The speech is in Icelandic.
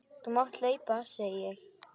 Þú mátt hlaupa, segi ég.